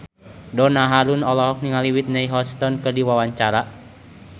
Donna Harun olohok ningali Whitney Houston keur diwawancara